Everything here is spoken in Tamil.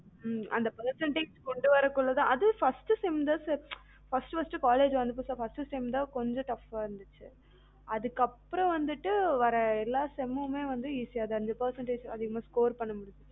ம் அந்த percentage கொண்டுவர்றதுக்குள்ள தான் அதும் first sem தான் sir first first college வந்தப்ப first sem தான் கொஞ்சம் கஷ்டமா இருந்துச்சு அதுக்கு அப்புறம் வந்துட்டு வர்ற எல்லா sem மு மே வந்து ஈஸியா இருந்தது percentage அதிகமா score பண்ண முடிஞ்சது